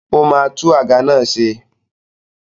Ó máa tún àga náà ṣe.